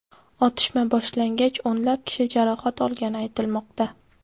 Otishma boshlangach, o‘nlab kishi jarohat olgani aytilmoqda.